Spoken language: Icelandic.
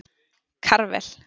Karvel